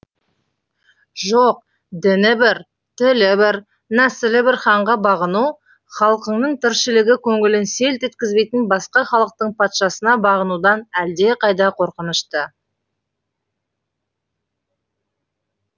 жоқ діні бір тілі бір нәсілі бір ханға бағыну халқыңның тіршілігі көңілін селт еткізбейтін басқа халықтың патшасына бағынудан әлдеқайда қорқынышты